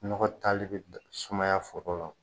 Nɔgɔ taali be sumaya foro la o